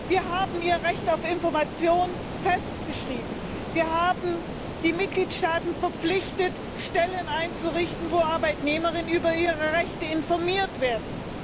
Wir haben ihr Recht auf Information festgeschrieben, wir haben die Mitgliedstaaten verpflichtet, Stellen einzurichten, wo Arbeitnehmerinnen und Arbeitnehmer über ihre Rechte informiert werden.